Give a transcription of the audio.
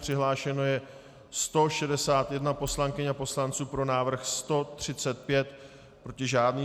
Přihlášeno je 161 poslankyň a poslanců, pro návrh 135, proti žádný.